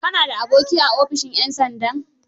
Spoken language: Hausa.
Ka na da aboki a ofishin 'yan sandan?